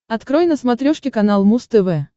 открой на смотрешке канал муз тв